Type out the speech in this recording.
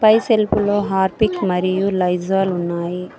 ఈ సెల్ఫ్ లో హార్ఫిక్ మరియు లైజాల్ ఉన్నాయి.